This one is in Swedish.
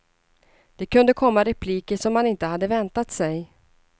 Det kunde komma repliker som man inte hade väntat sig.